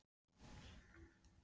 Hvort liðið vil ég að vinni?